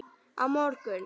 Á morgun